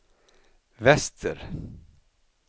väster